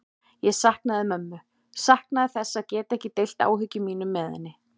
Ég saknaði mömmu, saknaði þess að geta ekki deilt áhyggjum mínum með henni.